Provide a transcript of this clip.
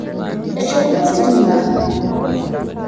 eshoma ositima